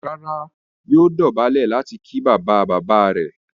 Rárá, yóò dọ̀bálẹ̀ láti ki bàbáabàbáa rẹ̀.